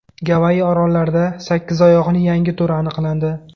Gavayi orollarida sakkizoyoqning yangi turi aniqlandi .